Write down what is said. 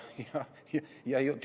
Jah.